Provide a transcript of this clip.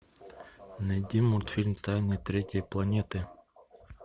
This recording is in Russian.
найди мультфильм тайна третьей планеты